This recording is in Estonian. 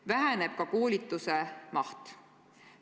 Väheneb ka koolituse maht.